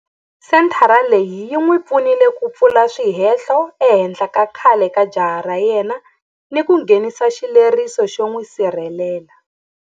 Senthara leyi yi n'wi pfunile ku pfula swihehlo ehenhla ka khale ka jaha ra yena ni ku nghenisa xileriso xo n'wi sirhelela.